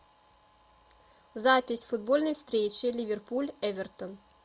запись футбольной встречи ливерпуль эвертон